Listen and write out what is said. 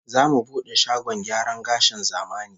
Zamu bude shagon gyaran gashin zamani